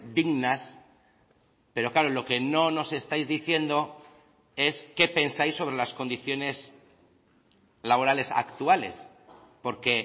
dignas pero claro lo que no nos estáis diciendo es qué pensáis sobre las condiciones laborales actuales porque